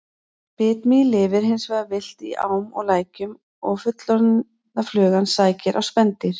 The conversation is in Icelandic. Bitmý lifir hins vegar villt í ám og lækjum og fullorðna flugan sækir á spendýr.